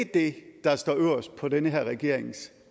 det der står øverst på den her regerings